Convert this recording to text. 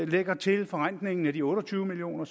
lægger til forrentningen af de otte og tyve million